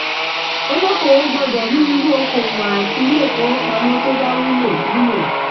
olókòòwò gbọ́dọ̀ mọ irú okò-òwò àti ilé-ifowópamọ́ tó bá wúlò. wúlò.